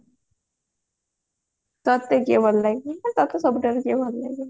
ତତେ କିଏ ଭଲ ଲାଗେ ତତେ ସବୁଠାରୁ କିଏ ଭଲ ଲାଗେ